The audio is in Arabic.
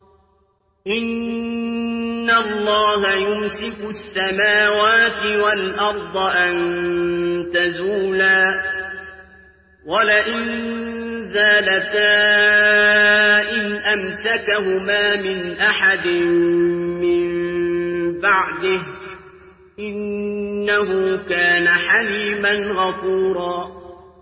۞ إِنَّ اللَّهَ يُمْسِكُ السَّمَاوَاتِ وَالْأَرْضَ أَن تَزُولَا ۚ وَلَئِن زَالَتَا إِنْ أَمْسَكَهُمَا مِنْ أَحَدٍ مِّن بَعْدِهِ ۚ إِنَّهُ كَانَ حَلِيمًا غَفُورًا